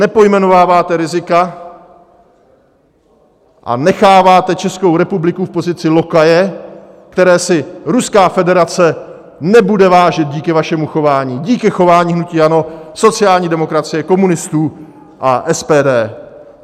Nepojmenováváte rizika a necháváte Českou republiku v pozici lokaje, které si Ruská federace nebude vážit díky vašemu chování, díky chování hnutí ANO, sociální demokracie, komunistů a SPD.